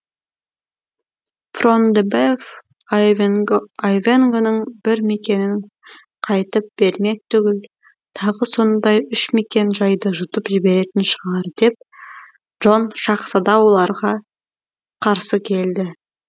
фрон де беф айвенгоның бір мекенін қайтып бермек түгіл тағы сондай үш мекен жайды жұтып жіберетін шығар деп джон шаһзада оларға қарсы келді